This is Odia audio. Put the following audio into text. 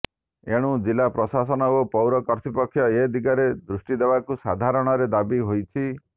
ଏଣୁ ଜିଲା ପ୍ରଶାସନ ଓ ପୌର କର୍ତ୍ତୃପକ୍ଷ ଏ ଦିଗରେ ଦୃଷ୍ଟିଦେବାକୁ ସାଧାାରଣରେ ଦାବି ହୋଇଛି